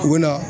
U bɛ na